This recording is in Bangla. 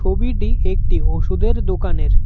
ছবিটি একটি ওষুধের দোকানের।